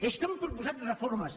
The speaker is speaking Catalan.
és que han proposat reformes